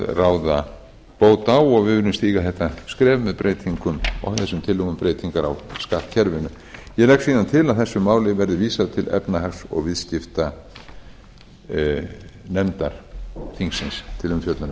ráða bót á og við viljum stíga þetta skref með þessum tillögum um breytingar á skattkerfinu ég legg síðan til að þessu máli verði vísað til efnahags og viðskiptanefndar þingsins til umfjöllunar